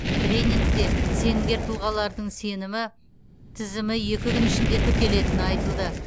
тренингте сенімгер тұлғалардың сенімі тізімі екі күн ішінде тіркелетіні айтылды